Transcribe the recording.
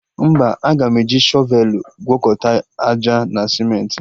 Mba, aga m eji shọvelụ gwọkọta àjà na simentị